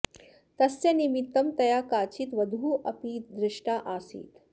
तस्य निमित्तं तया काचित् वधूः अपि दृष्टा आसीत्